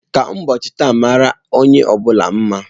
Ka ụbọochị taa mara onye bula mma.